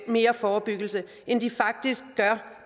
mere forebyggelse end de faktisk gør